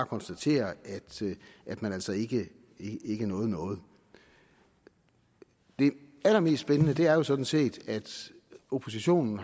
konstatere at man altså ikke nåede noget det allermest spændende er jo sådan set at oppositionen